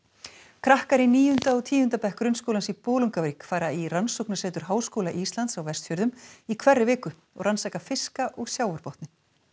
krakkar í níunda og tíunda bekk grunnskólans í Bolungarvík fara í Rannsóknasetur Háskóla Íslands á Vestfjörðum í hverri viku og rannsaka fiska og sjávarbotninn